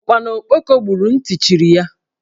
Ụkpana okpoko gburu, nti chiri ya